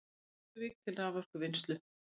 Krýsuvík til raforkuvinnslu.